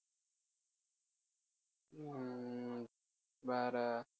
ஹம் வேற